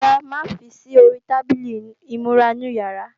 Rárá, má fi sí ori tábìlì ìmúra inú yàrá